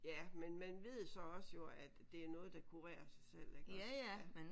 Ja men man ved så også jo at det er noget der kurerer sig selv iggås ja